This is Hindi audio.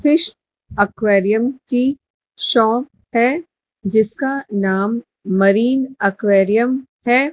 फिश एक्वेरियम की शॉप है जिसका नाम मरीन एक्वेरियम है।